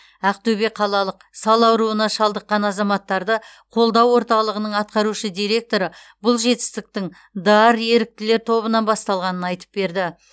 ақтөбе қалалық сал ауруына шалдыққан азаматтарды қолдау орталығының атқарушы директоры бұл жетістіктің д а р еріктілер тобынан басталғанын айтып берді